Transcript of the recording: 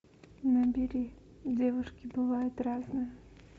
набери девушки бывают разные